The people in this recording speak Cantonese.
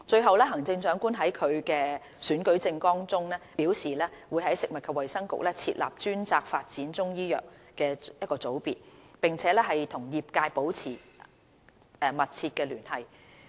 三行政長官在其選舉政綱中表示會在食物及衞生局設立專責發展中醫藥的組別，並與業界保持密切聯繫。